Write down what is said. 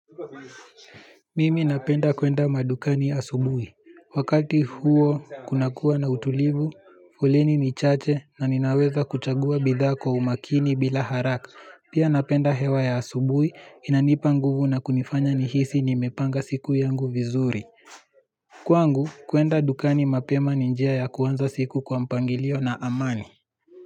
Mimi napenda kwenda madukani asubuhi. Wakati huo, kunakuwa na utulivu, foleni ni chache na ninaweza kuchagua bidhaa kwa umakini bila haraka. Pia napenda hewa ya asubui, inanipa nguvu na kunifanya nihisi nimepanga siku yangu vizuri. Kwangu, kwenda dukani mapema ni njia ya kuanza siku kwa mpangilio na amani.